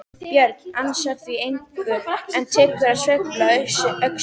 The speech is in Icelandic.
Björn ansar því engu en tekur að sveifla öxinni.